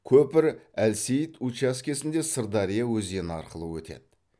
көпір әлсейіт учаскесінде сырдария өзені арқылы өтеді